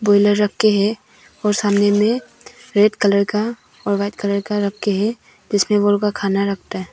Pillar रख के है और सामने मे रेड कलर का और वाइट कलर का रख के है जिसमें खाना रखता है।